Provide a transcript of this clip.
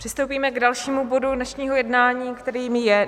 Přistoupíme k dalšímu bodu dnešního jednání, kterým je